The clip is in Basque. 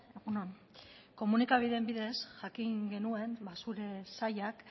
egun on komunikabideen bidez jakin genuen zure sailak